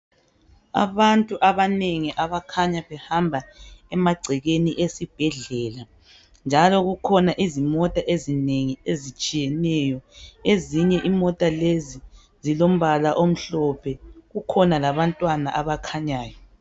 Abantu abanengi abakhanya behamba emagcekeni esibhedlela njalo kukhona izimota ezinengi ezitshiyeneyo. Ezinye imota lezi ezilombala omhlophe kukhona labantwana abakhanyayo.